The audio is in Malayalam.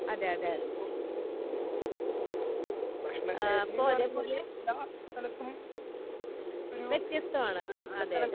അതെ അതെ അതെ ഇപ്പോ അതേ പോലെ വ്യത്യസ്തമാണ്. ആഹ് അതെ അതെ